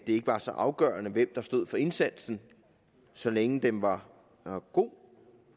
ikke var så afgørende hvem der stod for indsatsen så længe den var god